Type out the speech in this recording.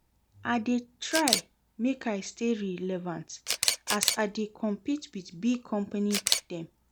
I dey try make I stay relevant as I dey compete wit big company dem.